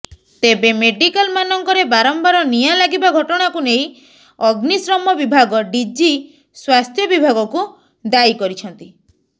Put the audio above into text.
ତେବେ ମେଡିକାଲମାନଙ୍କରେ ବାରମ୍ବାର ନିଆଁ ଲାଗିବା ଘଟଣାକୁ ନେଇ ଅଗ୍ନିଶମ ବିଭାଗ ଡିଜି ସ୍ୱାସ୍ଥ୍ୟ ବିଭାଗକୁ ଦାୟୀ କରିଛନ୍ତି